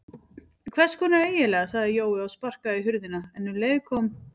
Hvess konar eiginlega sagði Jói og sparkaði í hurðina en um leið kom